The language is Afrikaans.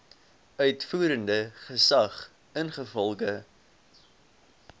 uitvoerende gesag ingevolge